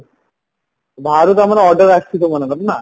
ବାହାରୁ ତମର order ଆସିଚି ତମ ମାନଙ୍କର ନାଁ